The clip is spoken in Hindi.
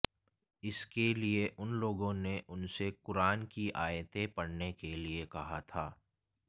इसके लिए उन लोगों ने उनसे कुरान की आयतें पढ़ने के लिए कहा था